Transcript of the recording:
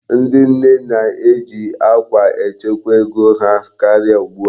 Ndị nne na-eji akwa echekwa ego ha karịa ugbu a.